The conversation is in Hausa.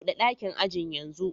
Bude dakin ajin yanzu